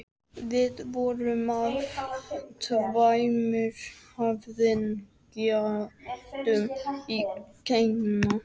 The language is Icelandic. Við vorum af tveimur höfðingjaættum í Kína.